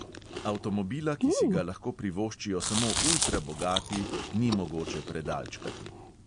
Avtomobila, ki si ga lahko privoščijo samo ultra bogati, ni mogoče predalčkati.